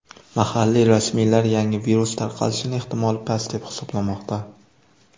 Mahalliy rasmiylar yangi virus tarqalishining ehtimoli past deb hisoblamoqda.